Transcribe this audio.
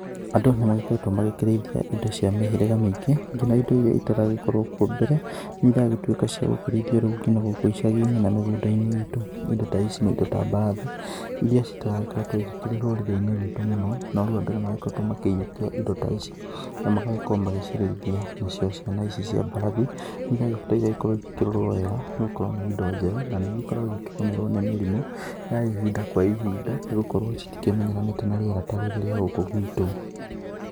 Andũ nĩ magĩkoretwo magĩkĩrĩithia indo cia mĩhĩriga mĩingĩ, ngina indo iria itaragĩkorwo kuo mbere nĩ iragĩtuĩka riu cia gũkĩrĩithio ngina gũkũ icagi-inĩ na mĩgũnda-inĩ itũ. Indo ta ici nĩ indo ta mbarathi iria citaragĩkoretwo ikĩrĩ rũrĩri-inĩ rwitũ mũno, no rĩu andũ nĩ magĩkoretwo makĩyũkia indo ta ici na magagĩkorwo magĩcirĩithia. Nacio ciana ici cia mbarathi nĩ iragĩbatara igagĩkorwo igĩkĩrorwo wega nĩ gũkorwo nĩ indo njerũ na nĩ igĩkoragwo igĩkĩgũmĩrwo nĩ mĩrimũ ya ihinda kwa ihinda, nĩ gũkorwo citikĩmenyeranĩte na rĩera ta rĩrĩ rĩa gũkũ gwitũ.